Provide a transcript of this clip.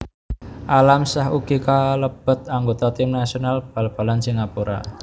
Alam Shah ugi kalebet anggota tim nasional bal balan Singapura